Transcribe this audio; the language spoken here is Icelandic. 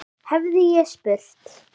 hefði ég spurt.